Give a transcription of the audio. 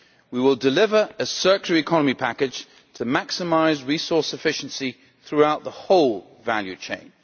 We will deliver a circular economy package to maximise resource efficiency throughout the whole value chain.